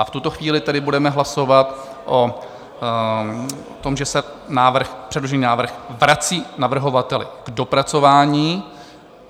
A v tuto chvíli tedy budeme hlasovat o tom, že se předložený návrh vrací navrhovateli k dopracování.